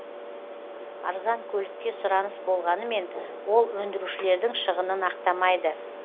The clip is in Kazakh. арзан көлікке сұраныс болғанымен ол өндірушілердің шығынын ақтамайды